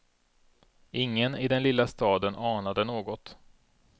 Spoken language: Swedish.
Ingen i den lilla staden anade något.